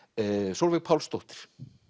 Sólveig Pálsdóttir